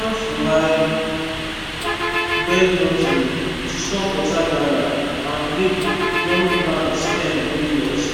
i plant for high bed nursery to stop water gather and make young plant stem no rot